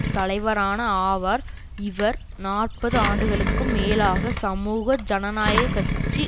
தலைவரான ஆவார் இவர் நாற்பது ஆண்டுகளுக்கும் மேலாக சமூக ஜனநாயக கட்சி